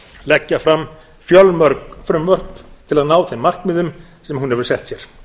leggja fram fjölmörg frumvörp til að ná þeim markmiðum sem hún hefur sett sér